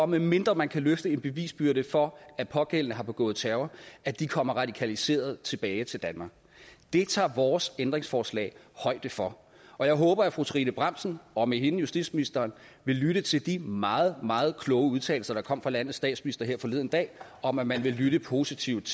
medmindre man kan løfte en bevisbyrde for at pågældende har begået terror kommer radikaliseret tilbage til danmark det tager vores ændringsforslag højde for og jeg håber at fru trine bramsen og med hende justitsministeren vil lytte til de meget meget kloge udtalelser der kom fra landets statsminister forleden dag om at man vil lytte positivt